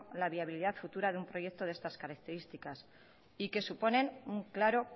la viabilidad futura de un proyecto de estas características y que suponen un claro